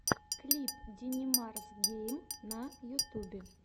клип динимарсгейм на ютюбе